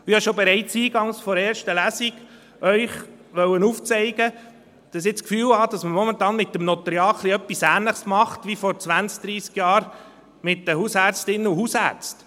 Ich habe Ihnen bereits eingangs der ersten Lesung aufzeigen wollen, dass ich das Gefühl habe, dass man momentan mit dem Notariat ein wenig dasselbe macht, wie vor zwanzig, dreissig Jahren mit den Hausärztinnen und Hausärzten.